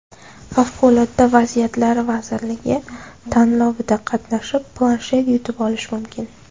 Favqulodda vaziyatlar vazirligi tanlovida qatnashib, planshet yutib olish mumkin.